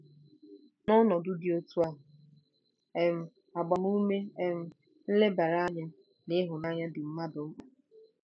N'ọnọdụ dị otú ahụ otú ahụ, um agbamume um, nlebara anya, na ịhụnanya dị mmadụ mkpa.